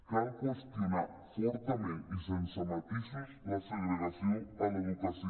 cal qüestionar fortament i sense matisos la segregació a l’educació